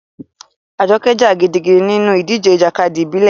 Ajoke jà gidigidi nínú ìdíje ìjàkadì ìbílẹ̀.